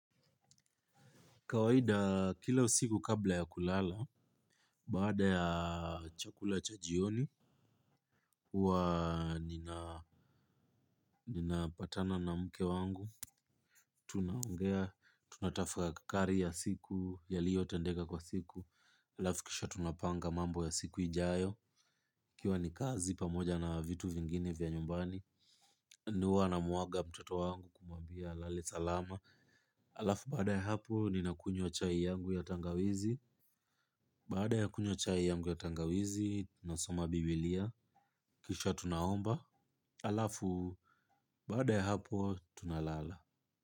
Kawaida kila usiku kabla ya kulala, baada ya chakula cha jioni, huwa ninapatana na mke wangu, tunaongea tunatafakari ya siku, yaliyotendeka kwa siku, alafu kisha tunapanga mambo ya siku ijayo, ikiwa ni kazi pamoja na vitu vingine vya nyumbani, ndio huwa namuaga mtoto wangu na kumwambia alale salama. Alafu baada ya hapo ninakunywa chai yangu ya tangawizi. Baada ya kunywa chai yangu ya tangawizi tunasoma bibilia. Kisha tunaomba. Alafu baada ya hapo tunalala.